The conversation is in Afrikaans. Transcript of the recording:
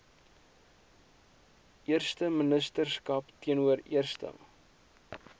eersteministerskap teenoor eerste